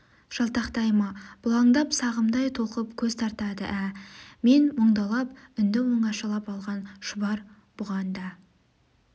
жалтақтай ма бұлаңдап сағымдай толқып көз тартады ә-ә мен мұңдалап үнді оңашалап алған шұбар бұған да